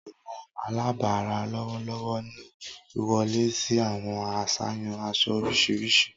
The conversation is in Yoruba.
Awọn alabara lọwọlọwọ ni iwọle si awọn aṣayan aṣọ oriṣiriṣi